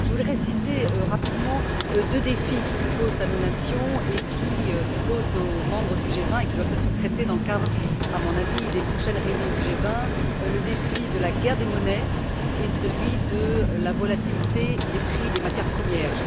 Je voudrais citer rapidement deux défis qui se posent à nos nations et qui se posent aux membres du G20 et qui doivent être traités dans le cadre, à mon avis, des prochaines réunions du G20. Le défi de la guerre des monnaies et celui de la volatilité des prix des matières premières.